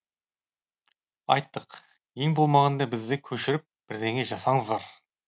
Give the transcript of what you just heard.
айттық ең болмағанда бізді көшіріп бірдеңе жасаңыздар